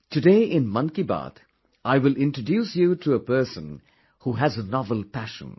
Today in Mann ki baat I will introduce you to a person who has a novel passion